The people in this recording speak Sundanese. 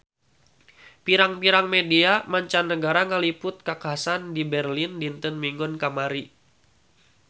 Pirang-pirang media mancanagara ngaliput kakhasan di Berlin dinten Minggon kamari